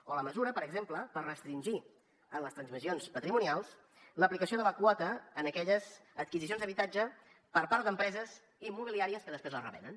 o la mesura per exemple per restringir en les transmissions patrimonials l’aplicació de la quota en aquelles adquisicions d’habitatge per part d’empreses immobiliàries que després les revenen